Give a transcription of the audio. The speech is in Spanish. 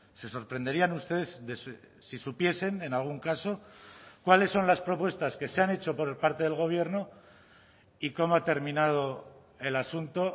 se sorprenderían ustedes si supiesen en algún caso cuáles son las propuestas que se han hecho por parte del gobierno y cómo ha terminado el asunto